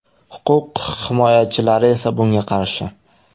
Huquq himoyachilari esa bunga qarshi.